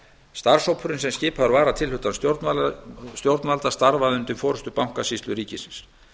starfshópurinn sem skipaður var að tilhlutan stjórnvalda starfaði undir forustu bankasýslu ríkisins